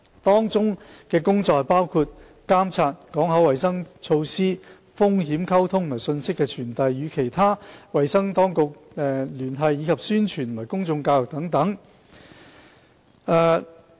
當中工作包括加強監測、港口衞生措施、風險溝通和信息傳遞；與其他衞生當局聯繫；以及宣傳和公眾教育等。